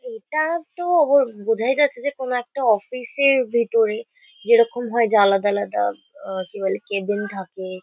এটাতো বো বোঝাই যাচ্ছে যে কোনো একটা অফিস -এর ভিতরে। যেরকম হয় যে আলাদা আলাদা আ কি বলে কেবিন থাকে।